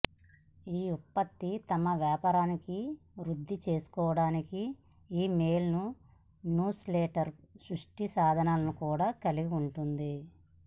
ఈ ఉత్పత్తి తమ వ్యాపారాన్ని వృద్ధి చేసుకోవడానికి ఇమెయిల్ న్యూస్లెటర్ సృష్టి సాధనాలను కూడా కలిగి ఉంటుంది